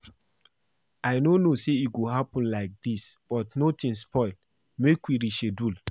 I no know say e go happen like dis but nothing spoil make we reschedule